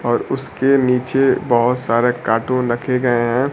और उसके नीचे बहोत सारा कार्टून रखे गए हैं।